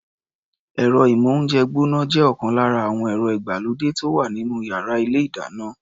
Ẹ̀rọ-ìmóhúnjẹ gbọ́ná jẹ́ ọ̀kan lára àwọn ẹ̀rọ ìgbàlódé tó wà nínú yàrá ilé-ìdáná.